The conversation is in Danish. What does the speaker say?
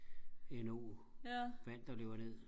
endnu vand der løber ned